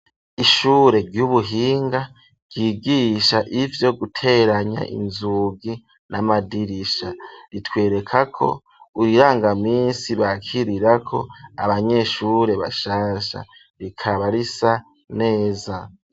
Ishure ry'ubuhinga ryigisha ivyo guteranya inzugi n'amadirisha, ritwereka ko urirangaminsi bakirirako abanyeshure bashasha, rikaba risa neza.